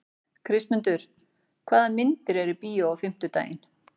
Kristmundur, hvaða myndir eru í bíó á fimmtudaginn?